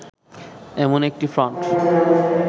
এমন একটি ফ্রন্ট